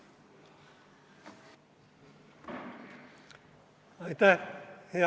Aitäh!